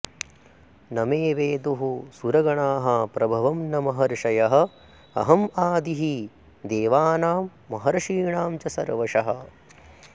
न मे विदुः सुरगणाः प्रभवं न महर्षयः अहम् आदिः हि देवानां महर्षीणां च सर्वशः